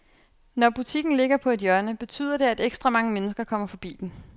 Når butikken ligger på et hjørne, betyder det, at ekstra mange mennesker kommer forbi den.